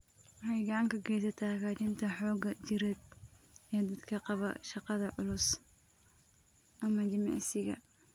Waxay gacan ka geysataa hagaajinta xoogga jireed ee dadka qaba shaqada culus ama jimicsiga.